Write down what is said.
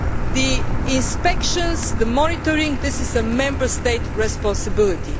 clear. The inspections and the monitoring are a Member State responsibility.